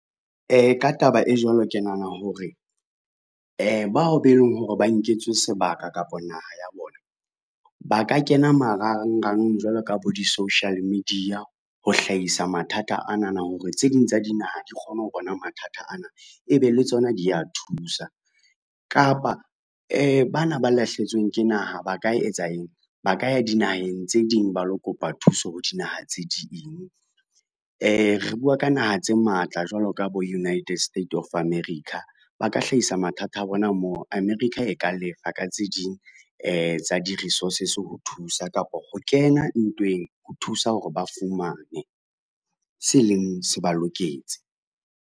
Ka taba e jwalo ke nahana hore, bao be leng hore ba nketswe sebaka kapa naha ya bona ba ka kena marangrang jwalo ka bo di-social media ho hlahisa mathata anana hore tse ding tsa dinaha di kgone ho bona mathata ana e be le tsona di a thusa. Kapa bana ba lahlehetsweng ke naha ba ka etsa eng, ba ka ya dinaheng tse ding ba lo kopa thuso ho dinaha tse ding, re bua ka naha tse matla jwalo ka bo United State of America. Ba ka hlahisa mathata a bona moo, America e ka lefa ka tse ding tsa di-resources, ho thusa kapa ho kena ntweng ho thusa hore ba fumane se leng se ba loketse.